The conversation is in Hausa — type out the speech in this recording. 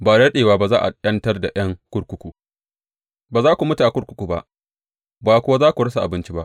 Ba da daɗewa za a ’yantar da ’yan kurkuku; ba za su mutu a kurkuku ba, ba kuwa za su rasa abinci ba.